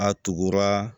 A tugura